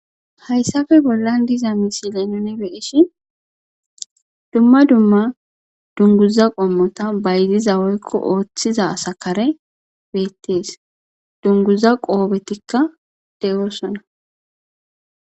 Hayssape bollan diza misile nuni be'ishin dumma dumma dunguza qommota bayziza woykko oothiza asa karey beettees. Dunguza qoobetika de'osona.